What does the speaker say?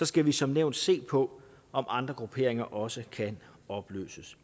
skal vi som nævnt se på om andre grupperinger også kan opløses